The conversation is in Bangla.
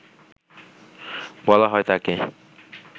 বলা হয় তাঁকে